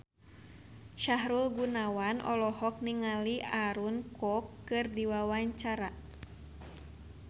Sahrul Gunawan olohok ningali Aaron Kwok keur diwawancara